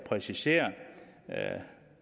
præciserer